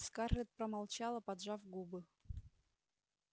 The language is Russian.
скарлетт промолчала поджав губы